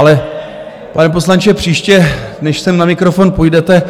Ale pane poslanče, příště, než sem na mikrofon půjdete,